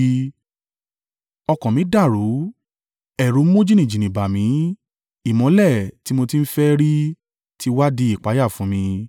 Ọkàn mí dàrú, ẹ̀rù mú jìnnìjìnnì bá mi, ìmọ́lẹ̀ tí mo ti ń fẹ́ ẹ́ rí ti wá di ìpayà fún mi.